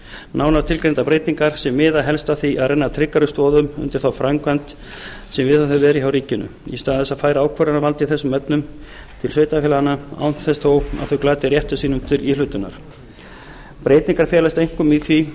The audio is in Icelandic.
nánar tilgreindar breytingar sem miða helst að því að renna tryggari stoðum undir þá framkvæmd sem viðhöfð hefur verið hjá ríkinu í stað þess að færa ákvörðunarvald í þessum efnum til sveitarfélaganna án þess þó að þau glati rétti sínum til íhlutunar breytingarnar felast einkum í því að